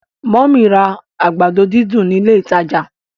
mummy rà àgbàdo dídùn ní ilé ìtàjà.